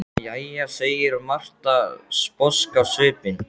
Jæja, segir Marta, sposk á svipinn.